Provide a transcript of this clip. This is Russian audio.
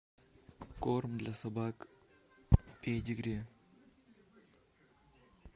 корм для собак педигри